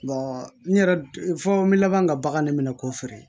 n yɛrɛ fɔ n bɛ laban ka bagan ne minɛ k'o feere